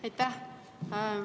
Aitäh!